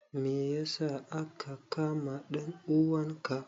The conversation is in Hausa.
Me ya sa aka kama dan uwanka?